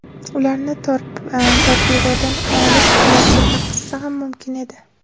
Ularni torpedodan olib, bilakka taqish ham mumkin edi.